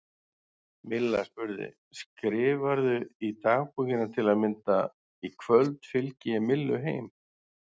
Milla spurði: Skrifarðu í dagbókina til að mynda: Í kvöld fylgdi ég Millu heim?